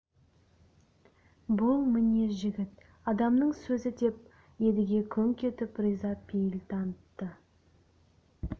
бұл міне жігіт адамның сөзі деп едіге күңк етіп риза пейіл танытты